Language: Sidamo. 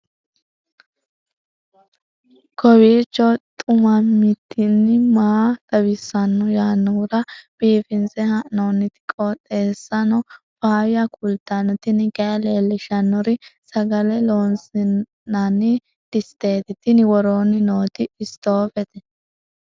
kowiicho xuma mtini maa xawissanno yaannohura biifinse haa'noonniti qooxeessano faayya kultanno tini kayi leellishshannori sagale loosi'nanni disteeti tini woroonni nooti istoofete